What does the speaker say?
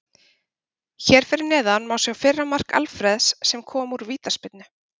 Hér fyrir neðan má sjá fyrra mark Alfreðs sem kom úr vítaspyrnu.